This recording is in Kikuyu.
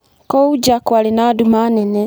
Kũu nja kwarĩ na nduma nene.